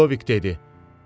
Lidovik dedi: